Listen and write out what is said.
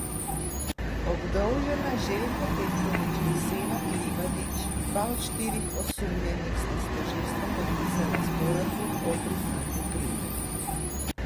Obdolžena Željko Petrović in Senad Livadić, dva od štirih osumljenih, sta s tožilstvom podpisala sporazum o priznanju krivde.